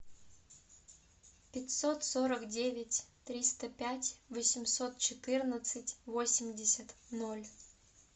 пятьсот сорок девять триста пять восемьсот четырнадцать восемьдесят ноль